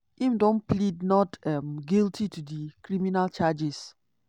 im don plead not um guilty to di criminal charges.